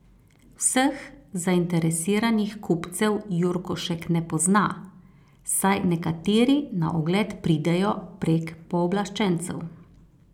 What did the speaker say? Vseh zainteresiranih kupcev Jurkošek ne pozna, saj nekateri na ogled pridejo prek pooblaščencev.